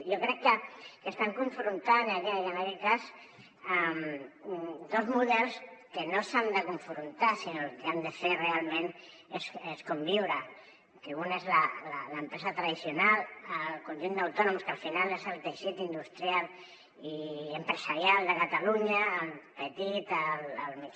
jo crec que estan confrontant en aquest cas dos models que no s’han de confrontar sinó que el que han de fer realment és conviure que un és l’empresa tradicional el conjunt d’autònoms que al final és el teixit industrial i empresarial de catalunya el petit